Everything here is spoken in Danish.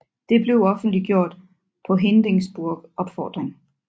Det blev offentliggjort på Hindenburgs opfordring